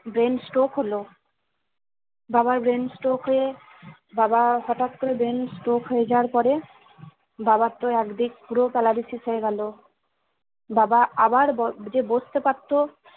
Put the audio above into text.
Brain stroke হলো বাবার brain stroke হয়ে বাবা হটাৎ করে brain stroke হয়ে যাওয়ার পরে বাবার তো একদিক পুরো paralysis হয়ে গেলো বাবা আবার ব যে বসতে পারতো